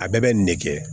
A bɛɛ bɛ nin de kɛ